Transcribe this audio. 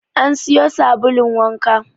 An siyo sabulun wanka.